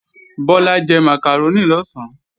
Bọ́lá jẹ màkàrónì lọ̀sán